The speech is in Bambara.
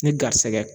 Ni garisɛgɛ